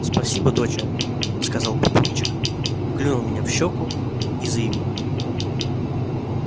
спасибо доча сказал папульчик клюнул меня в щеку и заявил